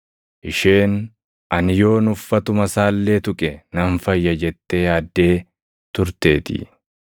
Isheen, “Ani yoon uffatuma isaa illee tuqe nan fayya” jettee yaaddee turteetii.